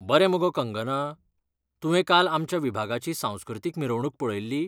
बरें मगो कंगना! तुवें काल आमच्या विभागाची सांस्कृतीक मिरवणूक पळयल्ली?